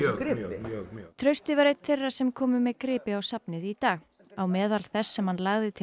gripi já mjög mjög mjög trausti var einn þeirra sem komu með gripi á safnið í dag á meðal þess sem hann lagði til